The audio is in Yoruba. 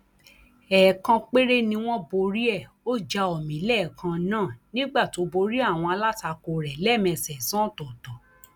ẹẹkan péré ni wọn borí ẹ ó já omi lẹẹkan náà nígbà tó borí àwọn alátakò rẹ lẹẹmẹsànán ọtọọtọ